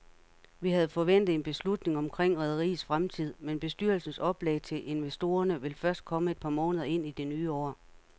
Vi havde forventet en beslutning omkring rederiets fremtid, men bestyrelsens oplæg til investorerne vil først komme et par måneder ind i det nye år.